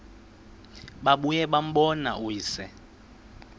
babuye bambone uyise